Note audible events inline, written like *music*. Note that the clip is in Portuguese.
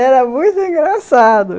*laughs* Era muito engraçado.